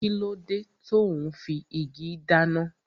Kíló dé tò ún fi igi dáná?